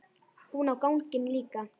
Hún á ganginn líka.